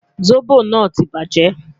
Zobo naa ti baje